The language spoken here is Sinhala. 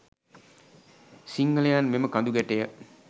සිංහලයන් මෙම කඳු ගැටය